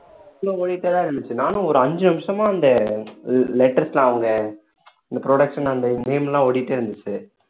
full லா ஓடிக்கிட்டே தான் இருந்துச்சு நானும் ஒரு அஞ்சு நிமிஷமா அந்த letters எல்லாம் அவங்க இந்த production அந்த name எல்லாம் ஓடிட்டே இருந்துச்சு